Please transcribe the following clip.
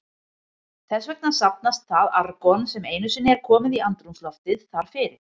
Þess vegna safnast það argon, sem einu sinni er komið í andrúmsloftið, þar fyrir.